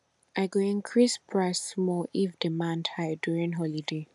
i go increase price small if demand high during holiday